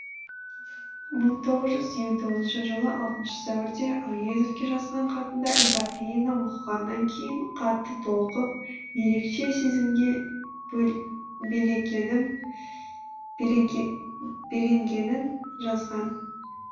мың тоғыз жүз елу тоғызыншы жылы алтыншы сәуірде әуезовке жазған хатында эпопеяны оқығаннан кейін қатты толқып ерекше сезімге беленгенін жазған